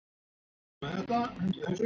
Jóhann: Hversu mikið ber í milli?